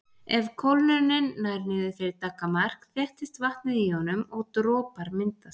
Ef kólnunin nær niður fyrir daggarmark þéttist vatnið í honum og dropar myndast.